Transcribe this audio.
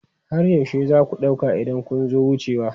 Har yaushe za ku ɗauka idan kun zo wucewa?